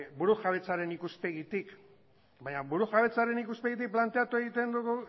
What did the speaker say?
burujabetzaren ikuspegitik baina burujabetzaren ikuspegitik planteatu egiten dugu